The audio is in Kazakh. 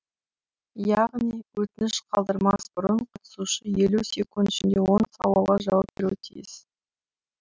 яғни өтініш қалдырмас бұрын қатысушы елу секунд ішінде он сауалға жауап беруі тиіс